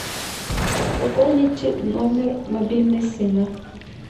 пополнить номер мобильный сына